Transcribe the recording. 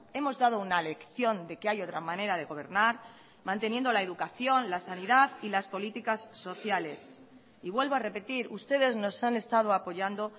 hemos dado una lección de que hay otra manera de gobernar manteniendo la educación la sanidad y las políticas sociales y vuelvo a repetir ustedes nos han estado apoyando